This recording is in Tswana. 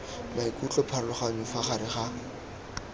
maikutlo pharologanyo fa gare ga